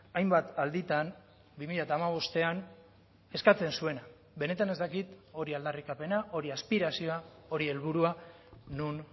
hainbat alditan bi mila hamabostean eskatzen zuena benetan ez dakit hori aldarrikapena hori aspirazioa hori helburua non